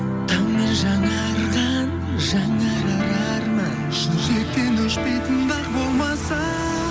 таңмен жаңарған жаңарар арман жүректен өшпейтін дақ болмаса